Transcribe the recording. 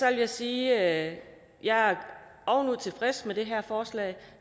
jeg sige at jeg er ovenud tilfreds med det her forslag